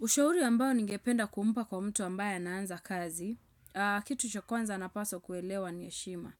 Ushauri ambayo ningependa kumpa kwa mtu ambayo anaanza kazi, kitu cha kwanza ana paswa kuelewa ni heshima.